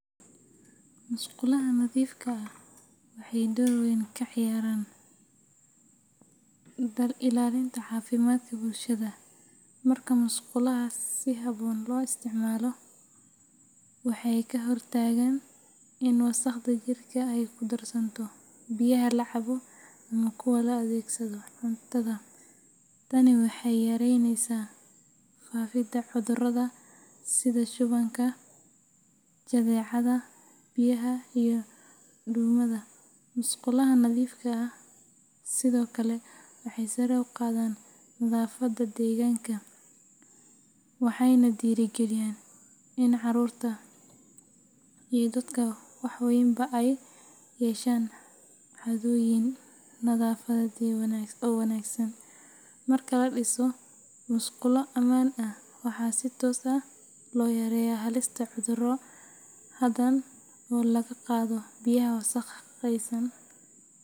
Musqulaha nadiifka ah waxay door weyn ka ciyaaraan ilaalinta caafimaadka bulshada. Marka musqulaha si habboon loo isticmaalo, waxay ka hortagaan in wasakhda jirka ay ku darsanto biyaha la cabo ama kuwa loo adeegsado cuntada. Tani waxay yareynaysaa faafidda cudurrada sida shubanka, jadeecada biyaha, iyo duumada. Musqulaha nadiifka ah sidoo kale waxay sare u qaadaan nadaafadda deegaanka, waxayna dhiirrigeliyaan in carruurta iyo dadka waaweynba ay yeeshaan caadooyin nadaafadeed oo wanaagsan. Marka la dhiso musqulo ammaan ah, waxaa si toos ah loo yareeyaa halista cudurro badan oo laga qaado biyaha wasakhaysan.